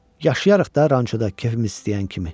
Yaşayarıq da rançoda, kefimiz istəyən kimi.